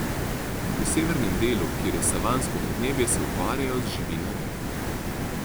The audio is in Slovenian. V severnem delu, kjer je savansko podnebje, se ukvarjajo z živinorejo.